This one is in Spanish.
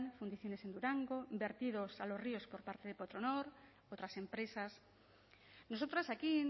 fundiciones en durango vertidos a los ríos por parte de petronor otras empresas nosotras aquí